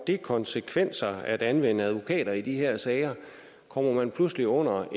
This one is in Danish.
det konsekvenser at anvende advokater i de her sager kommer man pludselig under